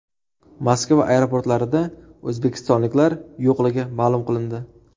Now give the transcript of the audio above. Moskva aeroportlarida o‘zbekistonliklar yo‘qligi ma’lum qilindi.